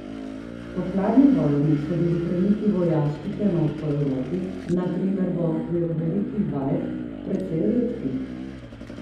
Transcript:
Po hladni vojni so bili premiki vojaških enot po Evropi, na primer v okviru velikih vaj, precej redki.